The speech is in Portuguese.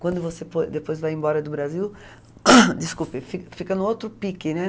Quando você depois vai embora do Brasil, desculpe, fi fica no outro pique, né?